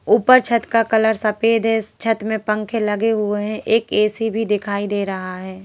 ऊपर छत का कलर सफेद है छत में पंखे लगे हुए हैं एक ए_सी भी दिखाई दे रहा हैं।